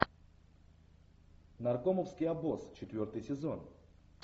наркомовский обоз четвертый сезон